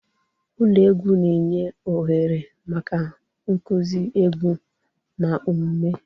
Ụlọ egwu na-enye ohere maka nkuzi egwu na omume.